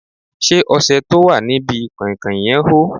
Ṣé ọṣẹ tó wà ní bi kàìnkàìn yẹn hó?